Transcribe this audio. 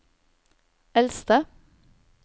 eldste